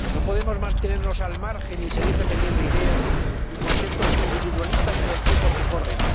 No podemos mantenernos al margen y seguir defendiendo ideas y conceptos individualistas en los tiempos que corren